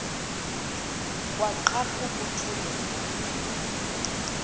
kwaqhaphuk uthuli evuma